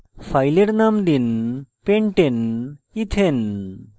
file name দিন pentaneethane